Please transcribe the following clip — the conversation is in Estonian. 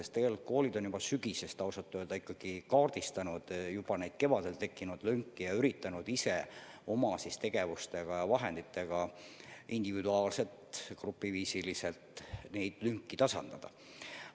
Tegelikult koolid on juba sügisest peale kaardistanud kevadel tekkinud lünki ja üritanud ise oma tegevuste ja vahenditega nii individuaalselt kui ka grupiviisiliselt neid lünki tasandada.